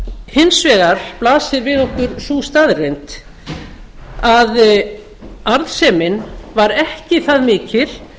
hins vegar blasir við okkur sú staðreynd að arðsemin var ekki það mikil